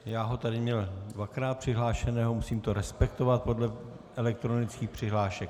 Já ho tady měl dvakrát přihlášeného, musím to respektovat podle elektronických přihlášek.